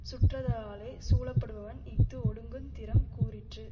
சுற்றத்தாராலே சூழப்படுபவன் இஃது ஒழுகுந் திறம் கூறிற்று